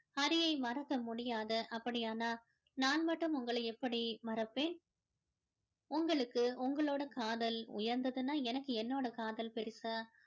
ஹரியை மறக்க முடியாது அப்படியானால் நான் மட்டும் உங்களை எப்படி மறப்பேன் உங்களுக்கு உங்களோட காதல் உயர்ந்ததுன்னா எனக்கு என்னோட காதல் பெருசு